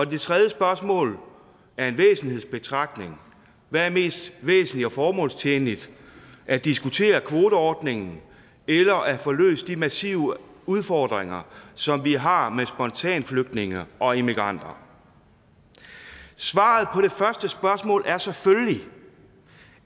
det tredje spørgsmål er en væsentlighedsbetragtning hvad er mest væsentligt og formålstjenligt at diskutere kvoteordningen eller at få løst de massive udfordringer som vi har med spontanflygtninge og immigranter svaret på det første spørgsmål er selvfølgelig